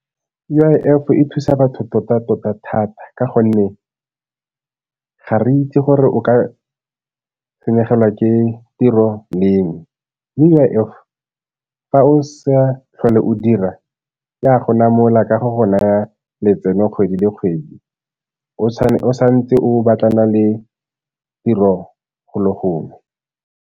U_I_F e thusa batho tota-tota thata ka gonne ga re itse gore o ka senyegelwa ke tiro leng. U_I_F fa o sa tlhole o dira e a go namola ka go go naya letseno kgwedi le kgwedi o sa ntse o batlana le tiro golo gongwe.